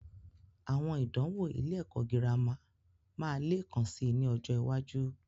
Àwọn ìdánwò ilé ẹ̀kọ́ girama máa leekan sì ni ọjọ́ iwájú.